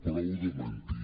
prou de mentir